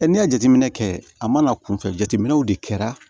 n'i y'a jateminɛ kɛ a mana kunfɛ jateminɛw de kɛra